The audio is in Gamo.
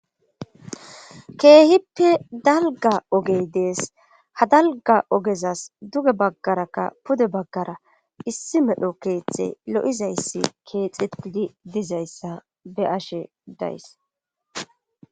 Keehippe dalga ogey dees ha dalga ogezas duge baggarakka pude baggara issi medho keeththe lo7izayssi keexitidi dizayssa be ashe days.